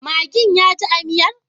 Maggin yaji a miyar?